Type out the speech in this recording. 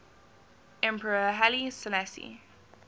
emperor haile selassie